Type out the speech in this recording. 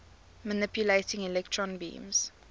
manipulating electron beams